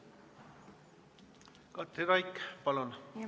Katri Raik, palun!